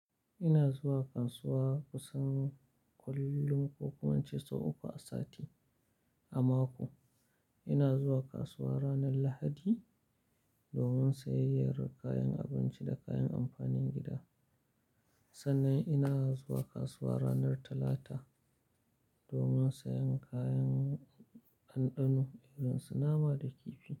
Ina zuwa kasuwa kusan kullum ko kuma ince sau uku a sati, a mako. Ina zuwa kasuwa ranar Lahadi domin sayayyar kayan abinci da kayan amfanin gida. Sannan ina zuwa kasuwa ranar Talata domin sayan kayan ɗanɗano irin su nama da kifi.